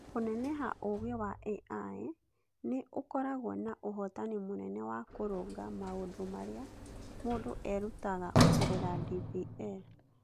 Kũneneha Ũũgĩ wa AI nĩ ũkoragwo na ũhotani mũnene wa kũrũnga maũndũ marĩa mũndũ erutaga kũgerera DPL.